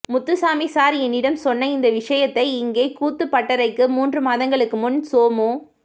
Muthusamy sir என்னிடம் சொன்ன இந்த விஷயத்தை இங்கே கூத்துப் பட்டறைக்கு மூன்று மாதங்களுக்கு முன் சோமு